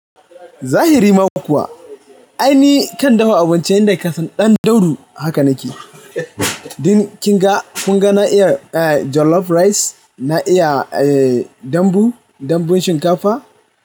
Zahiri ma kuwa. Ai ni kan dafa abinci inda kasan dan daudu haka nake. Din kin ga, kun ga na iya eh jollof rice, na iya eh dambu, dambun shinkafa.